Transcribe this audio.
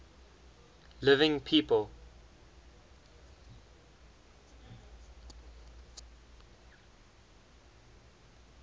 living people